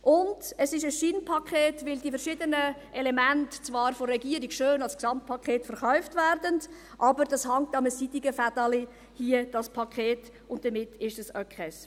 Und es ist ein Scheinpaket, weil die verschiedenen Elemente zwar von der Regierung schön als Gesamtpaket verkauft werden, dieses Paket aber an einem seidenen Faden hängt, und damit ist es auch keines.